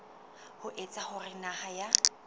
ho etsa hore naha ya